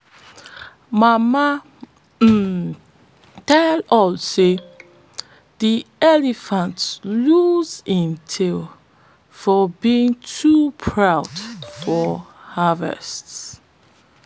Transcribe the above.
mama um tell us seyde elephant lose im tail for being too proud for harvest